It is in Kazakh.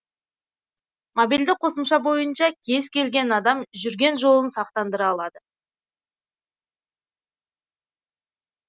мобильді қосымша бойынша кез келген адам жүрген жолын сақтандыра алады